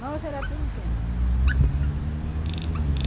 Nós era todo o tempo.